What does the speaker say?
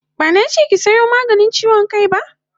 Bana che ki sayo maganin chiwon kai ba!